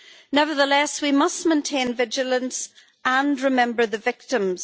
Nevertheless, we must maintain vigilance and remember the victims.